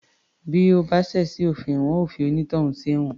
Bí o bá ṣẹ̀ sí òfin wọn yóò fi onítọ̀hún sí ẹ̀wọ̀n